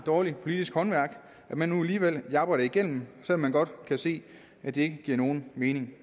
dårligt politisk håndværk at man nu alligevel japper det igennem selv om man godt kan se at det giver nogen mening